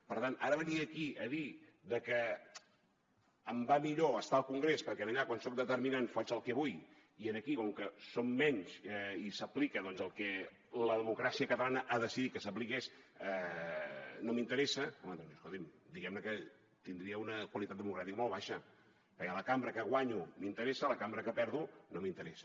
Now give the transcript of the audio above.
per tant ara venir aquí a dir que em va millor estar al congrés perquè allà quan soc determinant faig el que vull i aquí com que som menys i s’aplica el que la democràcia catalana ha decidit que s’apliqués no m’interessa home doncs escolti’m diguem ne que tindria una qualitat democràtica molt baixa perquè la cambra que guanyo m’interessa la cambra que perdo no m’interessa